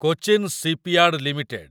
Cochin shipyard limited